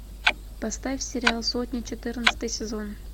поставь сериал сотня четырнадцатый сезон